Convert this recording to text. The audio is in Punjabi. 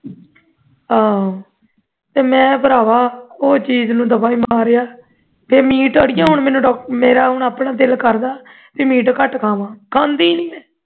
ਆਹੋ ਤੇ ਮੈਂ ਭਰਾਵਾ ਉਹ ਚੀਜ਼ ਨੂੰ ਦਫ਼ਾ ਹੀ ਮਾਰਿਆ ਮੀਟ ਅੜੀਏ ਮੈਨੂੰ ਹੁਣ doctor ਨੇ ਉਹ ਆਪਣਾ ਦਿਲ ਕਰਦਾ ਬਈ ਮੀਟ ਘਟ ਖਾਣਾ ਖਾਂਦੇ ਹੀ ਨਹੀਂ ਮੈਂ